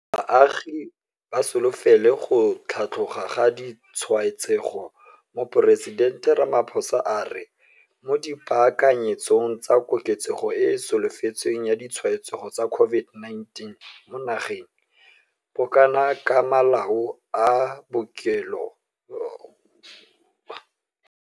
Baagi ba solofele go tlhatloga ga ditshwaetsego Moporesitente Ramaphosa a re, mo dipaakanyetsong tsa koketsego e e solofetsweng ya ditshwaetsego tsa COVID-19 mo nageng, bokana ka malao a bookelo a le 20 000 a baakantswe le go baakanyediwa go dirisetswa dikgetse tsa bao ba nang le COVID-19, le maokelo a nakwana a le 27 a agiwa go ralala naga.